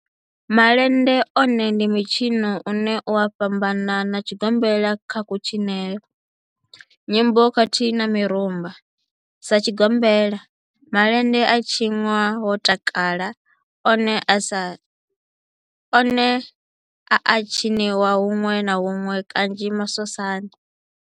Malende one ndi mitshino une u a fhambana na tshigombela kha kutshinele, nyimbo khathihi na mirumba. Sa tshigombela, malende a tshinwa ho takalwa, one a a tshiniwa hunwe na hunwe kanzhi masosani.